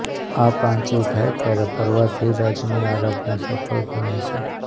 આ પાંચેય થાય ત્યારે પર્વાધિરાજની આરાધના સફળ ગણાય છે